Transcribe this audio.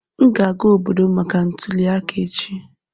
M ga-aga obodo m maka ntuli aka echi.